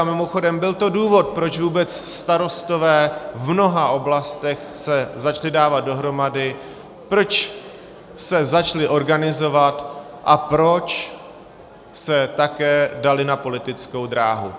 A mimochodem byl to důvod, proč vůbec starostové v mnoha oblastech se začali dávat dohromady, proč se začali organizovat a proč se také dali na politickou dráhu.